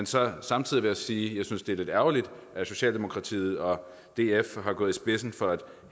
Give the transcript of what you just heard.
så samtidig sige at jeg synes det er lidt ærgerligt at socialdemokratiet og df er gået i spidsen for at